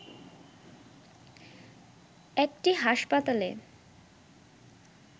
একটি হাসপাতালে